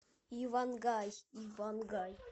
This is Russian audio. ивангай ивангай